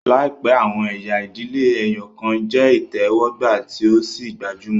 Laipẹ, awọn ẹya idile ẹyọkan jẹ itẹwọgba tí o sì gbajúmọ̀